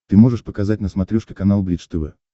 ты можешь показать на смотрешке канал бридж тв